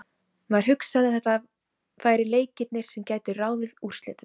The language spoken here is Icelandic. Maður hugsaði að þetta væru leikirnir sem gætu ráðið úrslitum.